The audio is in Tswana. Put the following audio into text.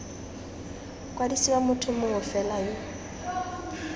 kwadisiwa motho mongwe fela yo